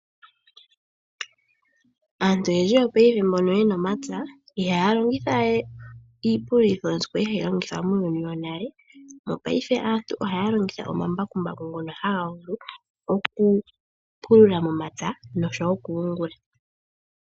Aantu oyendji paife mbono yena omapya ihaya longithawe iipululitho ndyono kwali hayi longithwa muuyuni wonale. Mopaife aantu ohaya longitha omambakumbaku ngono haga vulu okupulula momapya noshowo okuyungula.